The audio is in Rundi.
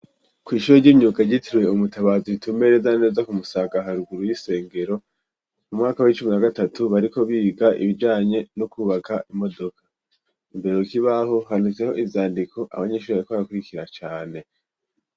Kw'ishure ry'imyuga ryitiriwe umutabazi ritumbereye neza kumusaga ha ruguru y'isengero mu mwaka w'icumi na gatatu bariko biga ibijanye no kubaka imodoka imbere k'ibaho handitseho iyandiko abanyeshure bariko barakurikira cane.